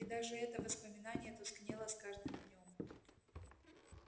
и даже это воспоминание тускнело с каждым днём